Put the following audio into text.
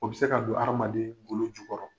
O bi se ka don adamaden golo jukɔrɔ.